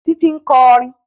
Títí ń kọrin